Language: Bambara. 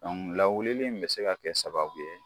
lawuli in mi se ka kɛ sababu ye